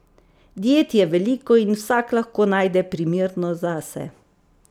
Diet je veliko in vsak lahko najde primerno zase.